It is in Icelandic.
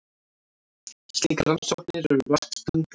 Slíkar rannsóknir eru vart stundaðar.